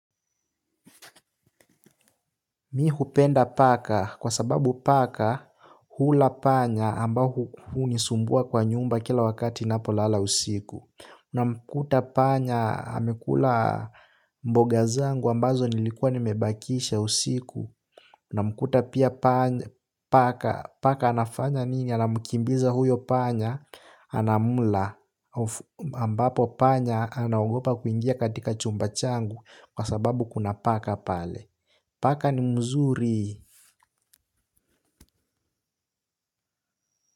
Mihupenda paka kwa sababu paka hula panya ambao hu nisumbua kwa nyumba kila wakati napo lala usiku. Na mkuta panya amekula mboga zangu ambazo nilikua nimebakisha usiku. Na mkuta pia paka anafanya nini? Anamukimbiza huyo panya, anamula ambapo panya, anagopa kuingia katika chumba changu kwa sababu kuna paka pale. Pakani muzuri.